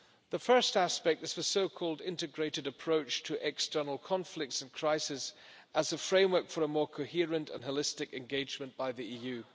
The first aspect is the so called integrated approach to external conflicts and crisis as a framework for a more coherent and holistic engagement by the EU.